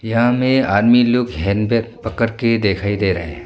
यहां में आदमी लोग हैंडबैग पकड़ के दिखाई दे रहे हैं।